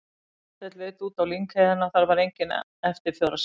Marteinn leit út á lyngheiðina, þar var enga eftirför að sjá.